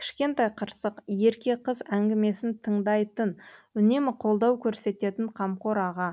кішкентай қырсық ерке қыз әңгімесін тыңдайтын үнемі қолдау көрсететін қамқор аға